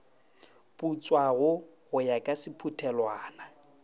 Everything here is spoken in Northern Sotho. putswago go ya ka sephuthelwana